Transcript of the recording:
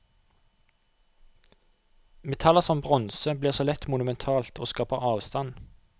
Metaller som bronse blir så lett monumentalt og skaper avstand.